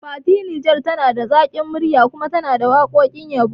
Fati Niger tana da zaƙin murya kuma tana waƙoƙin yabo ne